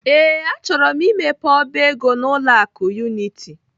Ee, achọrọ m imepe ọba ego n'ụlọ akụ Unity.